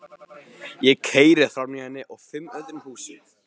Ég keyri framhjá henni og fimm öðrum húsum.